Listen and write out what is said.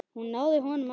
Hún náði honum aftur.